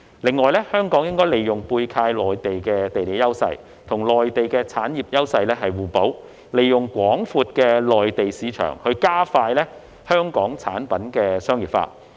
此外，香港應利用背靠內地的地理優勢，與內地產業優勢互補，利用廣闊的內地市場加快香港產品的商業化。